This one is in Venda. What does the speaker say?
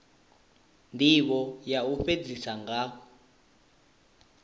ndivho ya u fhedzisa nga